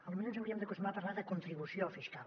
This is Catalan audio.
potser ens hauríem d’acostumar a parlar de contribució fiscal